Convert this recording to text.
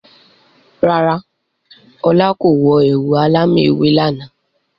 Rárá, ọlá kò wọ ẹ̀wù alámì ewé lànà.